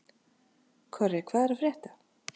Korri, hvað er að frétta?